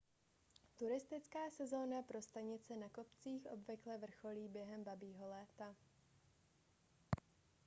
turistická sezóna pro stanice na kopcích obvykle vrcholí během babího léta